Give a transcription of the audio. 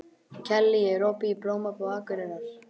Kellý, er opið í Blómabúð Akureyrar?